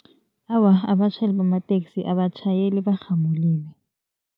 Awa, abatjhayeli bamateksi abatjhayeli barhamulile.